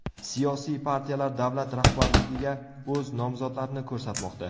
Siyosiy partiyalar davlat rahbarligiga o‘z nomzodlarini ko‘rsatmoqda.